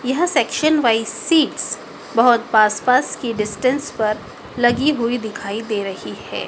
यह section wise seats बहोत पास पास की डिस्टेंस पर लगी हुई दिखाई दे रही है।